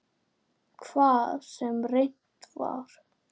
Hvað sem reynt var.